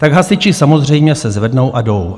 Tak hasiči samozřejmě se zvednou a jdou.